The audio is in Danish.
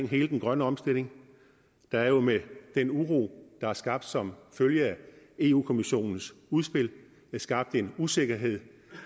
hele den grønne omstilling der er jo med den uro der er skabt som følge af europa kommissionens udspil skabt en usikkerhed